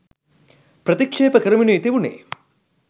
ප්‍රතික්ෂේප කරමිනුයි තිබුණේ.